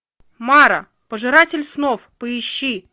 мара пожиратель снов поищи